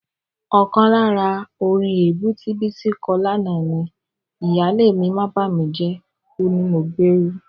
Ọkàn lára orin èébú tí Bísí kọ lánàá ni: "Ìyáálé mi bàmíjẹ́, ó ní mo gbérú..."